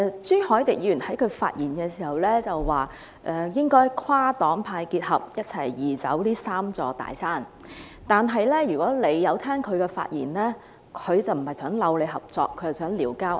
朱凱廸議員在發言時表示，應該跨黨派合作，一同移走這"三座大山"，但如果大家有聆聽他的發言，便會知道他不是尋求合作，而是"撩交嗌"。